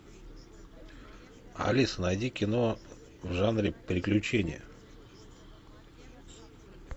алиса найди кино в жанре приключения